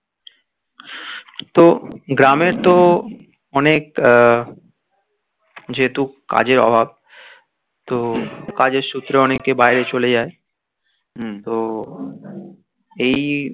তো গ্রামে তো অনেক আহ যেহেতু কাজের অভাব তো কাজের সূত্রে অনেকে বাইরে চলে যায় তো এই